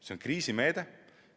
See on kriisimeede.